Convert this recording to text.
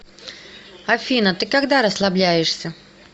афина ты когда расслабляешься